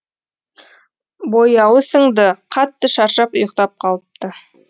бояуы сіңді қатты шаршап ұйықтап қалыпты